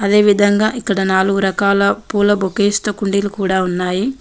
అదేవిదంగా ఇక్కడ నాలుగు రకాల పూల బొకేస్ తో కుండీలు కూడా ఉన్నాయి.